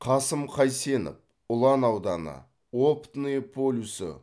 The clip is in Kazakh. қасым қайсенов ұлан ауданы опытное полюсі